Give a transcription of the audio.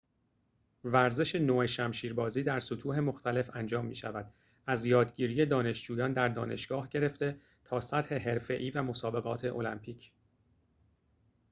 ورزش نو شمشیربازی در سطوح مختلف انجام می‌شود از یادگیری دانشجویان در دانشگاه گرفته تا سطح حرفه‌ای و مسابقات المپیک